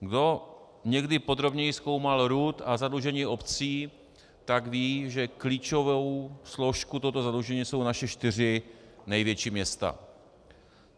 Kdo někdy podrobněji zkoumal RUD a zadlužení obcí, tak ví, že klíčovou složkou tohoto zadlužení jsou naše čtyři největší města.